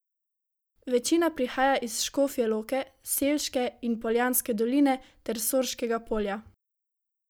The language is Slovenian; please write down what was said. Večina prihaja iz Škofje Loke, Selške in Poljanske doline ter Sorškega polja.